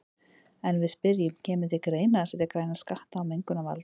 En við spyrjum, kemur til greina að setja græna skatta á mengunarvalda?